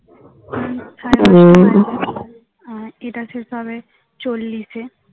আর এটা শেষ হবে চল্লিশে